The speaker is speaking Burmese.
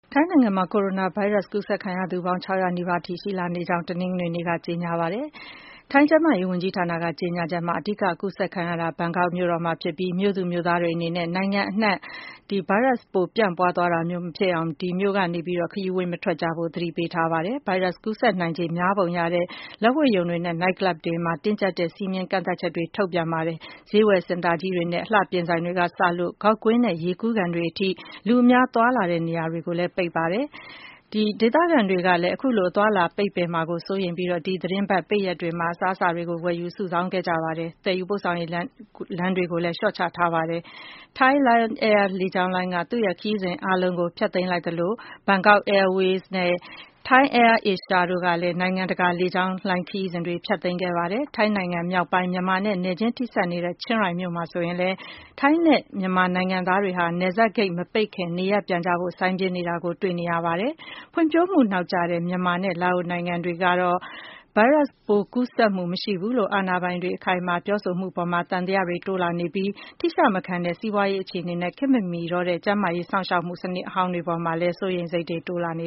ထိုင်းနိုင်ငံမှာ ကိုရိုနာဗိုင်းရပ်စ် ကူးစက်ခံရသူပေါင်း ၆၀၀ နီးပါးအထိ ရှိလာကြောင်း တနင်္ဂနွေနေ့မှာ ထိုင်းအစိုးရက အတည်ပြု ပြောဆိုပါတယ်။ ထိုင်းကျန်းမာရေးဝန်ကြီးဌာန ကြေညာချက်မှာတော့ အဓိကကူးစက်တဲ့ နေရာဟာ မြို့တော် ဘန်ကောက်မှာ ဖြစ်ကြောင်းနဲ့ ဗိုင်းရပ်စ်ပိုး ပျံ့နှံ့သွားတာမျိုး မဖြစ်အောင် မြို့သူမြို့သားတွေအနေနဲ့ ဘန်ကောက်မြို့ကနေ တခြားကို ခရီးမသွားကြဖို့ သတိပေးထားပါတယ်။ ဗိုင်းရပ်စ်ကူးစက်နိုင်ခြေ များပုံရတဲ့ လက်ဝှေ့ရုံတွေနဲ့ နိုက်ကလပ်တွေအတွက်လည်း တင်းကျပ်တဲ့ စည်းမျဉ်းကန့်သတ်ချက်တွေ ထုတ်ပြန်ထားပါတယ်။ ဒါ့အပြင် ဈေးဝယ်စင်တာကြီးတွေနဲ့ အလှပြင်ဆိုင်တွေကစလို့ ဂေါက်ကွင်းနဲ့ ရေကူးကန်တွေအထိ လူအများသွားလာတဲ့ နေရာတွေကိုလည်း ပိတ်ထားပါတယ်။ ဒေသခံတွေကလည်း အခုလို အသွားအလာ ပိတ်ပင်မှာကို စိုးရိမ်ပြီး ဒီသီတင်းပတ် ပိတ်ရက်တွေမှာ အစားအစာတွေကို ဝယ်ယူစုဆောင်းခဲ့ကြပါတယ်။ သယ်ယူပို့ဆောင်ရေး လမ်းတွေကိုလည်း လျှော့ချထားပါတယ်။ Thai Lion Air လေကြောင်းလိုင်းက သူ့ရဲ့ခရီးစဉ်အားလုံးကို ဖျက်သိမ်းလိုက်သလို Bangkok Airways နဲ့ Thai AirAsia တို့ကလည်း နိုင်ငံတကာ လေကြောင်းခရီးစဉ်တွေကို ဖျက်သိမ်းခဲ့ကြပါတယ်။ ထိုင်းနိုင်ငံမြောက်ပိုင်း မြန်မာနဲ့ နယ်ချင်းထိနေတဲ့ ချင်းရိုင်မြို့မှာဆိုရင်လည်း မြန်မာနဲ့ ထိုင်းနိုင်ငံသားတွေဟာ နယ်စပ်ဂိတ်မပိတ်ခင် နေရပ်ပြန်ကြဖို့ စိုင်းပြင်းနေကြတာကို တွေ့နေရပါတယ်။ ဖွံ့ဖြိုးမှုနောက်ကျတဲ့ မြန်မာနဲ့ လာအိုနိုင်ငံတွေမှာတော့ ဗိုင်းရပ်စ်ကူးစက်မှု မရှိဘူးလို့ အာဏာပိုင်တွေက အခိုင်အမာ ပြောဆိုနေမှုတွေအပေါ် သံသယတွေ တိုးလာနေကြပြီး ထိရှမခံတဲ့ စီးပွားရေးအခြေအနေနဲ့ ခေတ်မမီတော့တဲ့ ကျန်းမာရေးစောင့်ရှောက်မှု စနစ်ဟောင်းတွေ အပေါ်မှာလည်း စိုးရိမ်စိတ်တွေ တိုးလာနေ